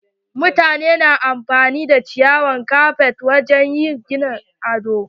Mutane na amfani da ciyawar kafet wajen yi wa gini ado.